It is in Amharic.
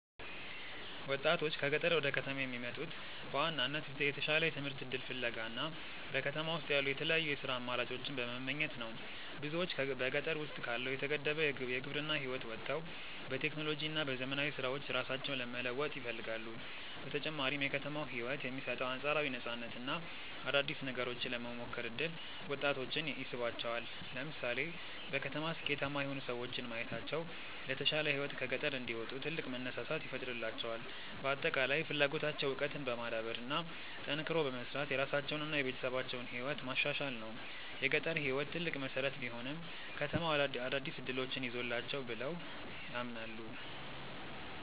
ወጣቶች ከገጠር ወደ ከተማ የሚመጡት በዋናነት የተሻለ የትምህርት እድል ፍለጋ እና በከተማ ውስጥ ያሉ የተለያዩ የሥራ አማራጮችን በመመኘት ነው። ብዙዎች በገጠር ውስጥ ካለው የተገደበ የግብርና ህይወት ወጥተው በቴክኖሎጂ እና በዘመናዊ ስራዎች ራሳቸውን መለወጥ ይፈልጋሉ። በተጨማሪም የከተማው ህይወት የሚሰጠው አንፃራዊ ነፃነት እና አዳዲስ ነገሮችን የመሞከር እድል ወጣቶችን ይስባቸዋል። ለምሳሌ በከተማ ስኬታማ የሆኑ ሰዎችን ማየታቸው ለተሻለ ህይወት ከገጠር እንዲወጡ ትልቅ መነሳሳት ይፈጥርላቸዋል። በአጠቃላይ ፍላጎታቸው እውቀትን በማዳበር እና ጠንክሮ በመስራት የራሳቸውንና የቤተሰባቸውን ህይወት ማሻሻል ነው። የገጠር ህይወት ትልቅ መሰረት ቢሆንም፣ ከተማው አዳዲስ እድሎችን ይዞላቸዋል ብለው ያምናሉ።